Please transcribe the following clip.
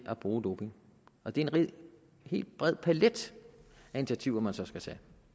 at bruge doping og det er en helt bred palet af initiativer man så skal tage